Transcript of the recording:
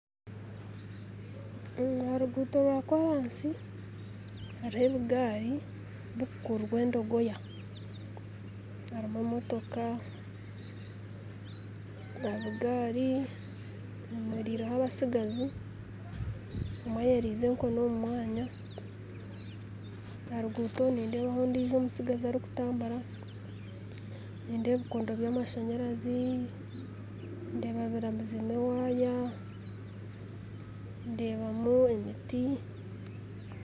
Aha ruguuto rwa koorasi Hariho ebigaari bikukururwa endogoya harimu emotoka aha bugaari hemeriireho abasigazi omwe ayoheriize enkoni omu mwanya aha ruguuto nindeebamu ondiijo omutsigazi arikutambura nindeeba ebikondo by'amashanyarazi ndeeba birabizemu waaya ndeebamu emiti